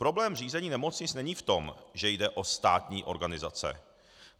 Problém řízení nemocnic není v tom, že jde o státní organizace.